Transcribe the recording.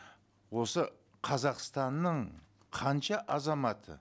осы қазақстанның қанша азаматы